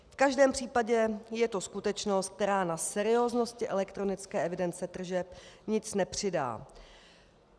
V každém případě je to skutečnost, která na serióznosti elektronické evidenci tržeb nic nepřidá.